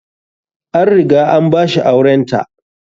An riga an ba shi aurenta.